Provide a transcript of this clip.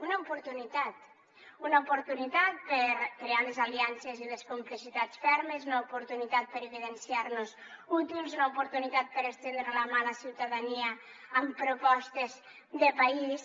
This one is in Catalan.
una oportunitat una oportunitat per crear les aliances i les complicitats fermes una oportunitat per evidenciar nos útils una oportunitat per estendre la mà a la ciutadania amb propostes de país